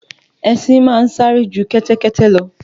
Ẹṣin ma ń sáré ju kẹ́tẹ́kẹ́tẹ́ lọ.